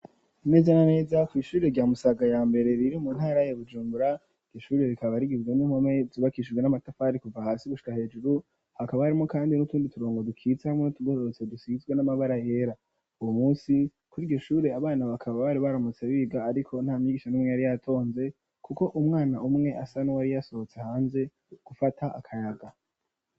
Neza na neza kwishure rya Musaga ya mbere riri mu ntara ya Bujumbura, iryo shure rikaba rigizwe n'impome zubakishijwe n'amatafari kuva hasi gushira hejuru hakaba harimwo kandi n'utundi turongo dukitse hamwe n'utugororotse dusizwe n'amabara yera, uwu munsi kuriryo shure abana bakaba bari baramutse biga ariko nta mwigisha n'umwe yari yatonze kuko umwana umwe asa nuwari yasohotse hanze gufata akayaga.